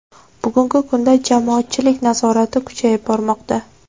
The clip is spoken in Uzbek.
Bugungi kunda jamoatchilik nazorati kuchayib bormoqda.